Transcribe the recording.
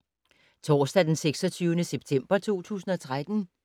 Torsdag d. 26. september 2013